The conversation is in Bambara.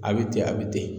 A bɛ ten a bɛ ten